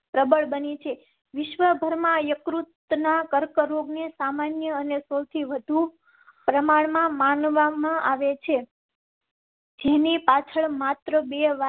પ્રબળ બની છે. વિશ્વભરમાં યકૃત ના કર્કરોગ ને સામાન્ય અને સૌથી વધુ પ્રમાણ માં માનવામાં આવે છે. જેની પાછળ માત્ર બે વાર.